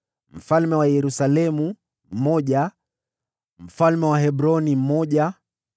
mfalme wa Yerusalemu mmoja mfalme wa Hebroni mmoja